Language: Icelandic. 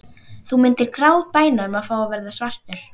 Þú myndir grátbæna um að fá að verða svartur.